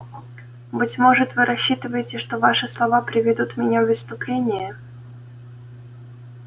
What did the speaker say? быть может вы рассчитываете что ваши слова приведут меня в исступление